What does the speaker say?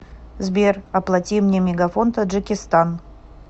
сбер оплати мне мегафон таджикистан